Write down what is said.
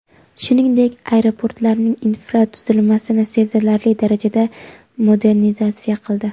shuningdek aeroportlarning infratuzilmasini sezilarli darajada modernizatsiya qildi.